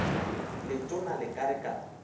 letona le ka re ka